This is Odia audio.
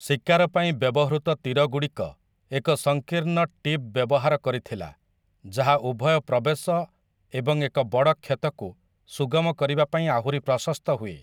ଶିକାର ପାଇଁ ବ୍ୟବହୃତ ତୀରଗୁଡ଼ିକ ଏକ ସଂକୀର୍ଣ୍ଣ ଟିପ୍ ବ୍ୟବହାର କରିଥିଲା ଯାହା ଉଭୟ ପ୍ରବେଶ ଏବଂ ଏକ ବଡ଼ କ୍ଷତକୁ ସୁଗମ କରିବା ପାଇଁ ଆହୁରି ପ୍ରଶସ୍ତ ହୁଏ ।